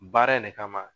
Baara in ne kama